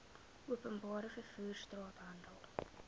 openbare vervoer straathandel